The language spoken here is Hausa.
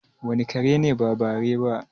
wane kare ne ba bare ba?